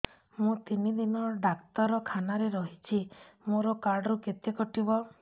ମୁଁ ତିନି ଦିନ ଡାକ୍ତର ଖାନାରେ ରହିଛି ମୋର କାର୍ଡ ରୁ କେତେ କଟିବ